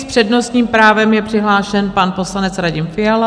S přednostním právem je přihlášen pan poslanec Radim Fiala.